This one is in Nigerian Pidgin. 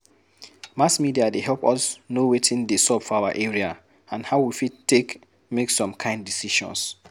Mass media dey help us know wetin dey sup for our area and how we fit take make some kind decisions